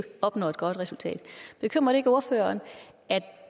opnå et godt resultat bekymrer det ikke ordføreren at